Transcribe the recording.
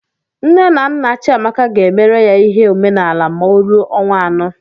Nne na nna Chiamaka ga-emere ya ihe omenaala ma ọ ruo ọnwa anọ.